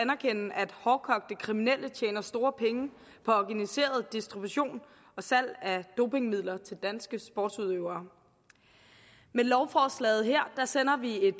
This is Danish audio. hårdkogte kriminelle tjener store penge på organiseret distribution og salg af dopingmidler til danske sportsudøvere med lovforslaget her sender vi et